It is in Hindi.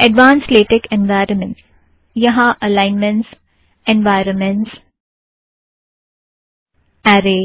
एड़वान्स्ड़ लेटेक एन्वायरमेंटज़ - यहाँ अलाइनमेंटज़ एन्वायरमेंटज़ ऐरे